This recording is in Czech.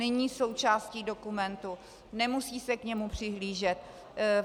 Není součástí dokumentu, nemusí se k němu přihlížet.